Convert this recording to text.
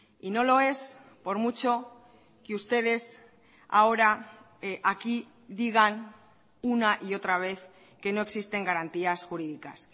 y no lo es por mucho que ustedes ahora aquí digan una y otra vez que no existen garantías jurídicas